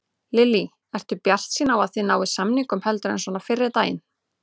Lillý: Ertu bjartsýnn á að þið náið samningum heldur en svona fyrri daga?